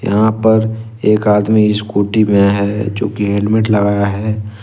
यहां पर एक आदमी स्कूटी में है जो कि हेलमेट लगाया है।